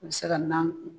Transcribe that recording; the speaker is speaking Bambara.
U bɛ se ka na